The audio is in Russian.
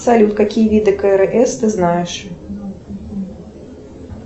салют какие виды крс ты знаешь